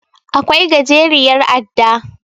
Akwai gajeriyar adda.